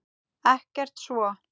Ekkert svo.